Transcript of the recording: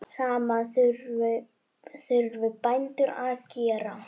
Sama þurfi bændur að gera.